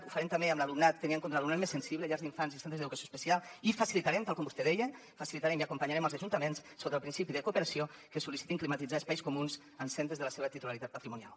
ho farem també tenint en compte l’alumnat més sensible llars d’infants i centres d’educació especial i facilitarem tal com vostè deia i acompanyarem els ajuntaments sota el principi de cooperació que sol·licitin climatitzar espais comuns en centres de la seva titularitat patrimonial